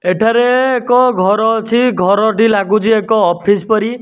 ଏଠାରେ ଏକ ଘର ଅଛି ଘରଟି ଲାଗୁଛି ଏକ ଅଫିସ୍ ପରି --